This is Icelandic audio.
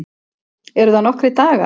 Eru það nokkrir dagar?